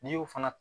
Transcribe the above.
N'i y'o fana